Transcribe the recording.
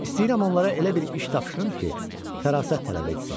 İstəyirəm onlara elə bir iş tapşırım ki, fərasət tələb etsin.